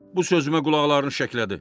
Bu sözümə qulaqlarını şəklədi.